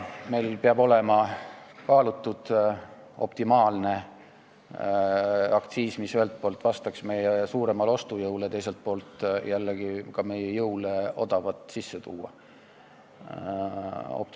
Meil peab olema kaalutud optimaalne aktsiis, mis ühelt poolt vastaks meie suuremale ostujõule ja teiselt poolt jällegi ka meie võimele odavat kaupa sisse tuua.